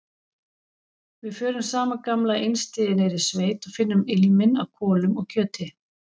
Við förum sama gamla einstigið niður í sveit og finnum ilminn af kolum og kjöti.